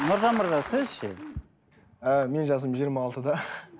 нұржан мырза сіз ше і менің жасым жиырма алтыда